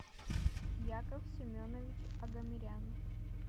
яков семенович агамерян